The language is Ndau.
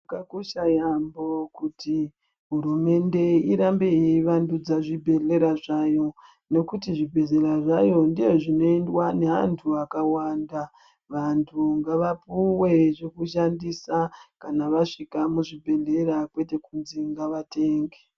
Zvakakosha yambo kuti hurumende irambe yeivanddudza zvibhedhlera zvayo nekuti zvibhedhlera zvayo ndozvino endwa neantu vakawanda vantu ngavapuwe zvekushandisa vasvika muzvibhedhlera kwete kuti vantu vatenge.